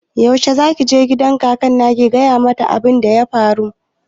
Wai yaushe ne zaki je gidan kakar naki ki gaya mata abun da ya faru?